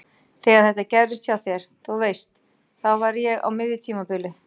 Þegar þetta gerðist hjá þér. þú veist. þá var ég á miðju tímabili.